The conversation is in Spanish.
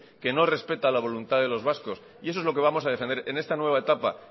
que no respeta la voluntad de los vascos y eso es lo que vamos a defender en esta nueva etapa